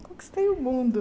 Conquistei o mundo.